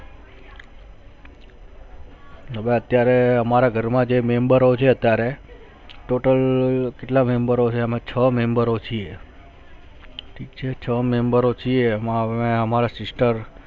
બધા અત્યારે અમારા ઘર માં જે મેમબરો જે અત્યારે total કેટલા મેમબરો છે અમે છ મેમબરો છિએ ઠીક છે છ મેમબરો છિએ એમાં અમારા sister